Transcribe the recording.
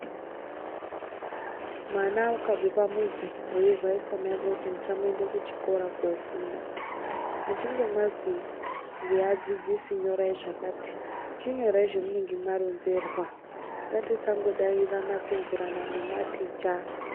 Mwana ukabve pamuzi weivhaise maiko kuti ndichamboende kuchikora kofunda, muchinge mwazwi ngeadzidzisi nyorai zvakati chinyorai zvamunenge mwaronzerwa ngatisangidairana kupingurana pingirana nematicha.